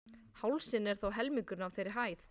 Hálsinn er þó helmingurinn af þeirri hæð.